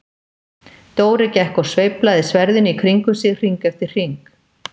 Dóri gekk og sveiflaði sverðinu í kringum sig hring eftir hring.